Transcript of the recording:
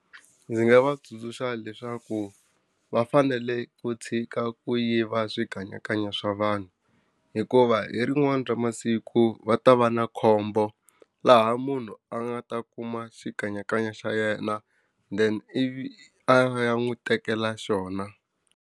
Ndzi nga va tsundzuxa leswaku va fanele ku tshika ku yiva swikanyakanya swa vanhu hikuva hi rin'wana ra masiku va ta va na khombo, laha munhu a nga ta kuma xikanyakanya xa yena then ivi a ya n'wi tekela xona.